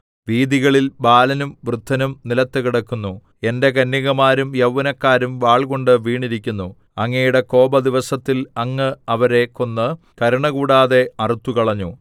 വീഥികളിൽ ബാലനും വൃദ്ധനും നിലത്ത് കിടക്കുന്നു എന്റെ കന്യകമാരും യൗവനക്കാരും വാൾകൊണ്ട് വീണിരിക്കുന്നു അങ്ങയുടെ കോപദിവസത്തിൽ അങ്ങ് അവരെ കൊന്ന് കരുണ കൂടാതെ അറുത്തുകളഞ്ഞു